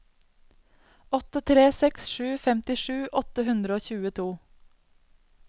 åtte tre seks sju femtisju åtte hundre og tjueto